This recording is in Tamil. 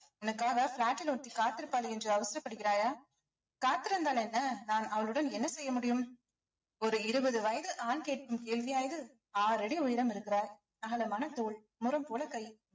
உனக்காக flat ல ஒருத்தி காத்திருப்பாள் என்று அவசரப்படுகிறாயா காத்திருந்தால் என்ன நான் அவளுடன் என்ன செய்ய முடியும் ஒரு இருபது வயது ஆண் கேக்கும் கேள்வியா இது ஆறடி உயரம் இருக்கிறாய் அகலமான தோல் முரம் போல கை